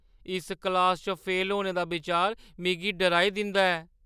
इस क्लासा च फेल होने दा बिचार मिगी डराई दिंदा ऐ।